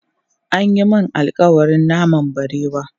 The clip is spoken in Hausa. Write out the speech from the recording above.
An yi mun alƙawarin naman barewa.